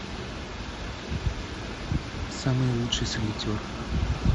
самый лучший солитер